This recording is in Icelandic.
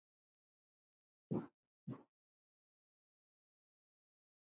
Ég hóstaði mikið og svona.